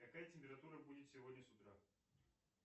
какая температура будет сегодня с утра